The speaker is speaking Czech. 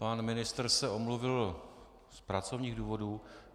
Pan ministr se omluvil z pracovních důvodů?